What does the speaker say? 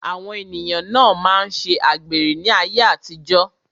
Àwọn ènìyàn na máa ṣe àgbèrè ní ayé àtijó.